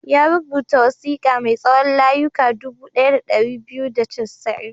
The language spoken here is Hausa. Ya rubuta wasiƙa mai tsawon layuka dubu ɗaya da ɗari biyu da casa'in.